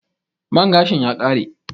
Man gashin ya kare?